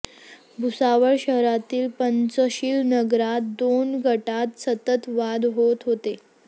भुसावळ शहरातील पंचशील नगरात दोन गटात सतत वाद होत होते